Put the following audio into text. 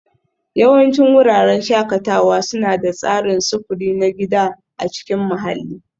Yawancin wuraren shakatawa suna da tsarin sufuri na gida a cikin mahalli